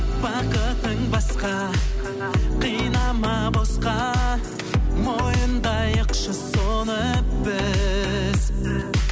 бақытың басқа қинама босқа мойындайықшы соны біз